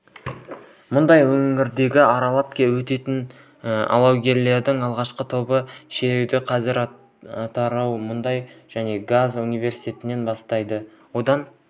мұнайлы өңірді аралап өтетін алаугерлердің алғашқы тобы шеруді қазір атырау мұнай және газ университетінен бастайды одан